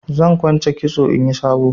Zan kwance kitson inyi sabo.